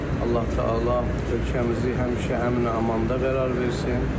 Allah-Təala ölkəmizi həmişə əmin-amanda qərar versin.